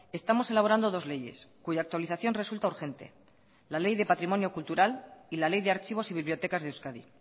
estamos elaborando dos leyes cuya actualización resulta urgente la ley de patrimonio cultural y la ley de archivos y bibliotecas de euskadi